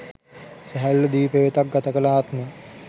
සැහැල්ලු දිවි පෙවෙතක් ගත කළ ආත්ම